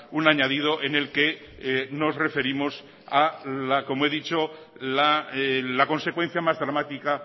un añadido en el que nos referimos como he dicho a la consecuencia más dramática